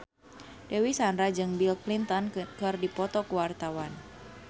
Dewi Sandra jeung Bill Clinton keur dipoto ku wartawan